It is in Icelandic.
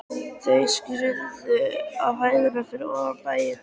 Þau skyggðu á hæðirnar fyrir ofan bæinn.